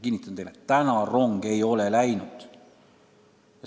Kinnitan teile: täna rong ei ole läinud.